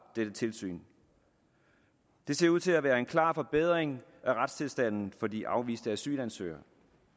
dette tilsyn det ser ud til at være en klar forbedring af retstilstanden for de afviste asylansøgere